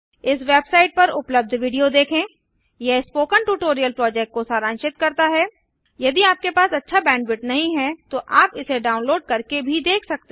इस वेबसाइट पर उपलब्ध विडियो देखें यह स्पोकन ट्यूटोरियल प्रोजेक्ट को सारांशित करता हैयदि आपके पास अच्छा बैंडविड्थ नहीं है तो आप इसे डाउनलोड़ करके भी देख सकते हैं